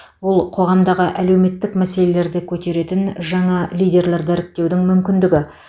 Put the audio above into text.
бұл қоғамдағы әлеуметтік мәселелерді көтеретін жаңа лидерлерді іріктеудің мүмкіндігі